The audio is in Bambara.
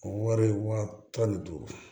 O wari tan ni duuru